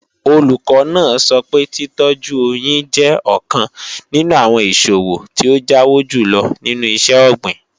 Olùkọ́ náà sọ pé títọ́jú oyín jẹ́ ọ̀kan nínú àwọn ìṣòwò tí ó jáwó jùlọ nínú iṣẹ́-ọ̀gbìn